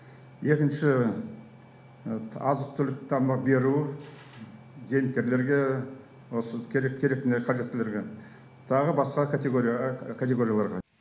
екінші азық түлік тамақ беру зейнеткерлерге осы керек керек қажеттілерге тағы басқа категория категорияларға